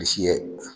Bilisi ye